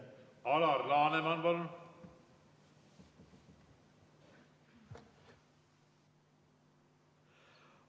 Alar Laneman, palun!